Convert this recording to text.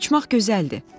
Uçmaq gözəldir.